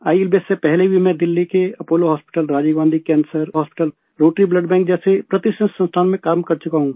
ILBS से पहले भी मैं दिल्ली के Apollo hospital Rajiv Gandhi cancer hospital Rotary blood bank जैसे प्रतिष्ठित संस्थानों में काम कर चुका हूँ